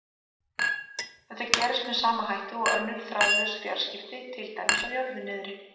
Þetta gerist með sama hætti og önnur þráðlaus fjarskipti, til dæmis á jörðu niðri.